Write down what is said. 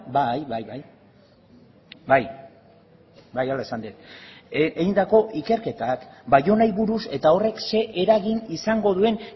bai hala esan dut baionari buruz eta horrek zer eragin izango duen